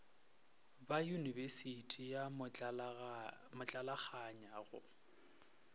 ba yunibesithi ya motlalakganya go